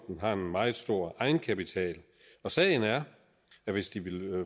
har en meget stor egenkapital og sagen er at hvis de vil